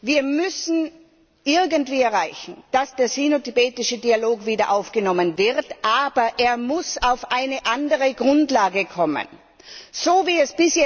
Wir müssen irgendwie erreichen, dass der sino tibetische Dialog wieder aufgenommen wird. Aber er muss auf eine andere Grundlage gestellt werden.